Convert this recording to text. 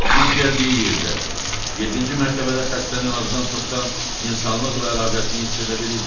İlk gəldiyi yerdə yeddinci mərtəbədə xəstənin azdan-çoxdan insanlıqla əlaqəsini hiss edə bilirdi.